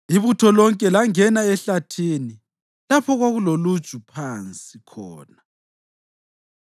Ibutho lonke langena ehlathini, lapho okwakuloluju phansi khona.